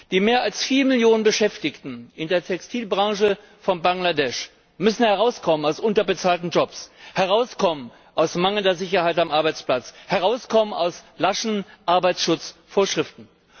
Die mehr als 4 Millionen Beschäftigten in der Textilbranche von Bangladesch müssen herauskommen aus unterbezahlten Jobs, herauskommen aus mangelnder Sicherheit am Arbeitsplatz, herauskommen aus laschen Arbeitsschutzvorschriften.